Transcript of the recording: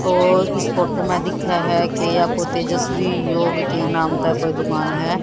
तो इस फोटो में दिख्खे है कि आपको तेजस्वी योग के नाम पे कोई दुकान है।